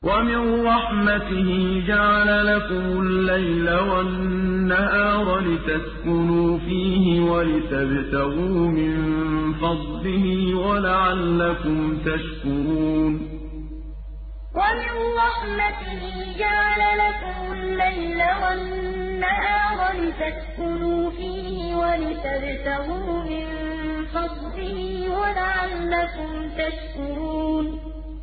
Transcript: وَمِن رَّحْمَتِهِ جَعَلَ لَكُمُ اللَّيْلَ وَالنَّهَارَ لِتَسْكُنُوا فِيهِ وَلِتَبْتَغُوا مِن فَضْلِهِ وَلَعَلَّكُمْ تَشْكُرُونَ وَمِن رَّحْمَتِهِ جَعَلَ لَكُمُ اللَّيْلَ وَالنَّهَارَ لِتَسْكُنُوا فِيهِ وَلِتَبْتَغُوا مِن فَضْلِهِ وَلَعَلَّكُمْ تَشْكُرُونَ